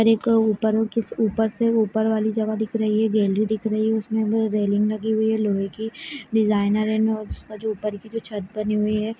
एक उप्पर नीचे सेउप्पर से उप्पर वाली जगह दिख रही है गेटें दिख रही है उसमे भी रेलिंग लगी हुई है लोहे की डिजाइनर उप्पर की जो छत बनी हुई है